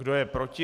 Kdo je proti?